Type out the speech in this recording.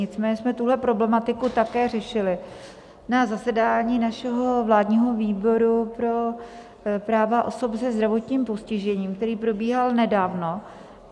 Nicméně jsme tuhle problematiku také řešili na zasedání našeho Vládního výboru pro práva osob se zdravotním postižením, který probíhal nedávno.